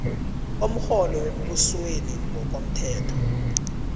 komrholo wembusweni ngokomthetho